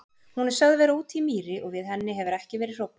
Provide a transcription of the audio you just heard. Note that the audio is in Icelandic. Hún er sögð vera úti í mýri og við henni hefur ekki verið hróflað.